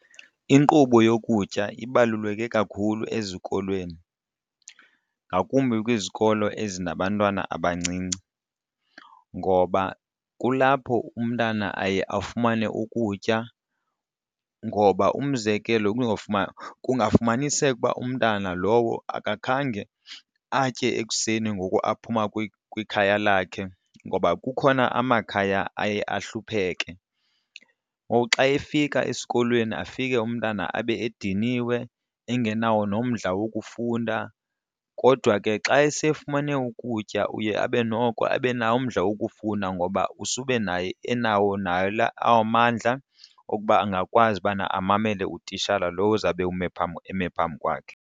Inkqubo yokutya ibaluleke kakhulu ezikolweni ngakumbi kwizikolo ezinabantwana abancinci ngoba kulapho umntana aye afumane ukutya ngoba umzekelo kungafumaniseka ukuba umntana lowo akakhange atye ekuseni ngoku aphuma kwikhaya lakhe, ngoba kukhona amakhaya aye ahlupheke. Ngoku xa efika esikolweni afike umntana abe ediniwe engenawo nomdla wokufunda. Kodwa ke xa esefumane ukutya uye abe noko abe nawo umdla wokufunda ngoba usube nayo enawo nayo la amandla okuba angakwazi ubana amamele utitshala lo uzawube ume eme phambi kwakhe.